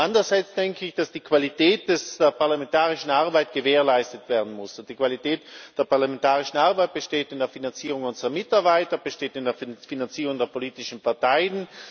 Aber andererseits muss die Qualität der parlamentarischen Arbeit gewährleistet werden, und die Qualität der parlamentarischen Arbeit besteht in der Finanzierung unserer Mitarbeiter, besteht in der Finanzierung der politischen Parteien.